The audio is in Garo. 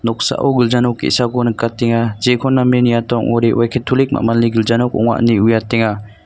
noksao gilja nok ge·sako nikatenga jekon name niata ong·ode oe ketolik ma·malni gilja nok ong·a ine uiatenga.